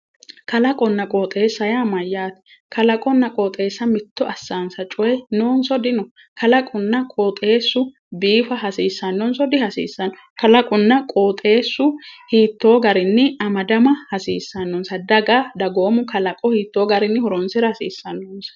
Klaqonna qooxeessa yaa mayyaate? qooxeessa mitto assaansa coyi noonso dino? kalaqunna qooxeessu biifa hasiissannoso dihasiisanno? kalqonna qooxeessu hiittoo garinni amadama hasiissannosi? daga dagoomu kalaqo hiittoonni amada hasissanno?